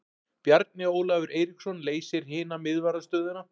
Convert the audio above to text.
Bjarni Ólafur Eiríksson leysir hina miðvarðarstöðuna.